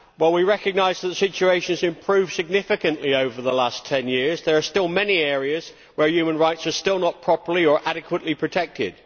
While we recognise that the situation has improved significantly over the last 10 years, there are still many areas where human rights are still not properly or adequately protected.